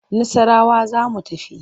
Nassarawa za mu tafi.